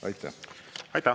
Aitäh!